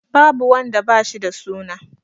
Babu wanda da ba shi da suna.